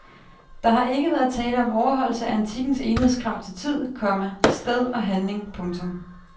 Der har ikke været tale om overholdelse af antikkens enhedskrav til tid, komma sted og handling. punktum